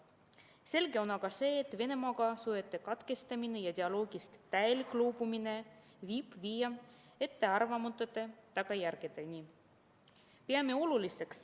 Selge on see, et Venemaaga suhete katkestamine ja dialoogist täielikult loobumine võib viia ettearvamatute tagajärgedeni.